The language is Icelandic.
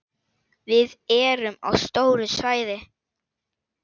Við erum á stóru svæði.